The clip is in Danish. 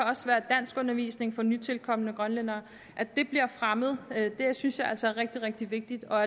også være danskundervisning for nytilkomne grønlændere at det bliver fremmet synes jeg altså er rigtig rigtig vigtigt og